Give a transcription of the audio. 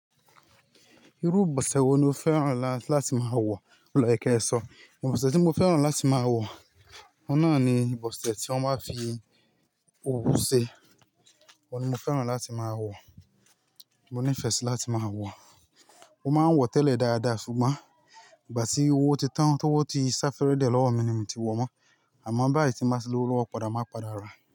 Irú ìbọ̀sẹ̀ wo ni o fẹ́ràn láti máa wọ̀ lọ́ye kẹ́ ṣọ̀ọ́? Ìbọ̀sẹ̀ tí mo fẹ́ràn láti máa wọ̀, oun nàa ni ìbọ̀sẹ̀ tí wọ́n máa ń fi owú ṣe. Oun ni mo fẹ́ràn láti máa wọ̀, mo nífẹ̀ẹ́ sí láti máa wọ̀. Mo máa ń wọ̀ tẹ́lẹ̀ dáadáa ṣùgbọ́n ìgbà tí owó ti tán, tí owó ti sá fẹ́rẹ̀ẹ́ dié lọ́wọ́ mi ni mi ti wọ̀ mọ́. Àmọ́ báyìí tí n bá ti lówó lọ́wó padà, màá padà ràá.